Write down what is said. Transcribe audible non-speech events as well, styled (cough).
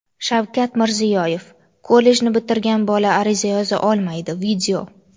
Shavkat Mirziyoyev: "Kollejni bitirgan bola ariza yoza olmaydi". (video)